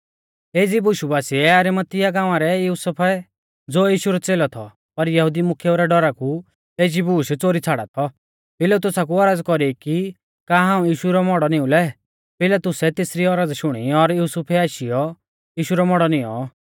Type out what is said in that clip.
एज़ी बुशु बासिऐ अरिमतिया गांवा रै युसुफै ज़ो यीशु रौ च़ेलौ थौ पर यहुदी मुख्येऊ रै डौरा कु एज़ी बूश च़ोरी छ़ाड़ा थौ पिलातुसा कु औरज़ कौरी की का हाऊं यीशु रौ मौड़ौ नीऊं लै पिलातुसै तेसरी औरज़ शुणी और युसुफै आशीयौ यीशु रौ मौड़ौ निऔं